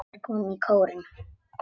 Þeir komu í kórinn.